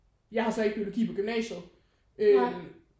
Jeg har så ikke biologi på gymnasiet øh